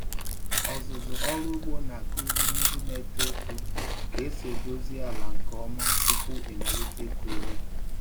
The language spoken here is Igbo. Ọzụzụ ọrụ ugbo na-akụziri ndị na-eto eto ka esi edozi ala nke ọma tupu ịmalite ịkụ ihe.